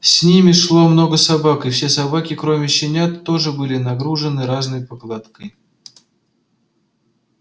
с ними шло много собак и все собаки кроме щенят тоже были нагружены разной покладкой